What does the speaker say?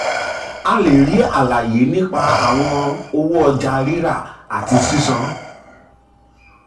a lè rí àlàyé nípa ìṣirò àwọn owó ọjà rírà àti owó sísan.